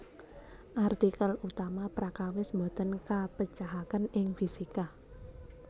Artikel utama Prakawis boten kapecahaken ing fisika